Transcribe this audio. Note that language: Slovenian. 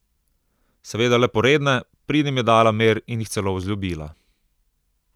Seveda le poredne, pridnim je dala mir in jih celo vzljubila.